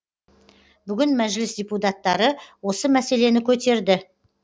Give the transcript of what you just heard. бүгін мәжіліс депутаттары осы мәселені көтерді